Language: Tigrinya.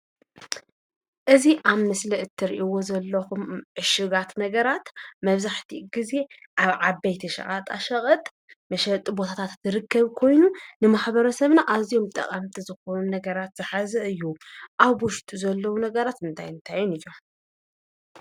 እዚ አብ ምስሊ እትሪኢዎ ዘለኹም ዕሹጋት ነገራት መብዛሕትኡ ግዜ አብ ዓበይቲ ሸቀጣ ሸቀጥ መሸጢ ቦታታት ዝርከብ ኮይኑ፤ ንማሕበረ ሰብና አዝዮም ጠቐምቲ ዝኾኑ ነገራት ዝሓዘ እዩ፡፡ አብ ውሽጡ ዘለው ነገራት እንታይን እንታይን እዮም?